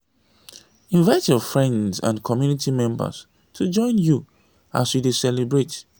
invite your friends and community members to join you as you dey celebrate